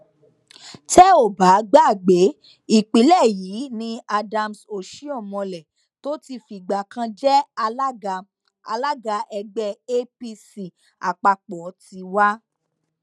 tẹ ò bá gbàgbé ìpínlẹ yìí ni adams osihomhole tó ti fìgbà kan jẹ alága alága ẹgbẹ apc àpapọ ti wá